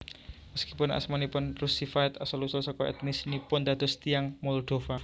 Meskipun asmanipun Russified asal usul suku etnis nipun dados tiyang Moldova